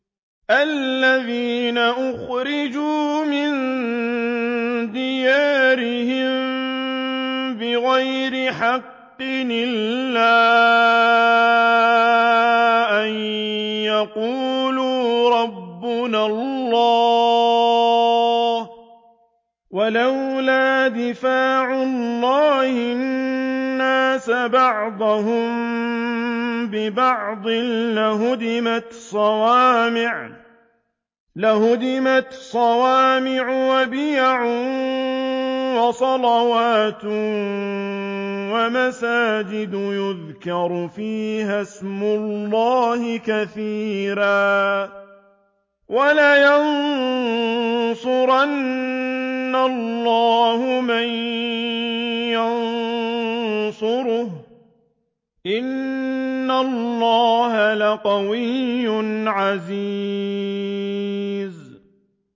الَّذِينَ أُخْرِجُوا مِن دِيَارِهِم بِغَيْرِ حَقٍّ إِلَّا أَن يَقُولُوا رَبُّنَا اللَّهُ ۗ وَلَوْلَا دَفْعُ اللَّهِ النَّاسَ بَعْضَهُم بِبَعْضٍ لَّهُدِّمَتْ صَوَامِعُ وَبِيَعٌ وَصَلَوَاتٌ وَمَسَاجِدُ يُذْكَرُ فِيهَا اسْمُ اللَّهِ كَثِيرًا ۗ وَلَيَنصُرَنَّ اللَّهُ مَن يَنصُرُهُ ۗ إِنَّ اللَّهَ لَقَوِيٌّ عَزِيزٌ